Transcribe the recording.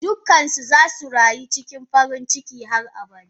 Dukansu zasu rayu cikin farinciki har abada.